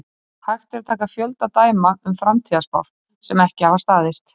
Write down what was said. Hægt er að taka fjölda dæma um framtíðarspár sem ekki hafa staðist.